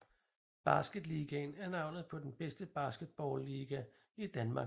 Basketligaen er navnet på den bedste basketballliga i Danmark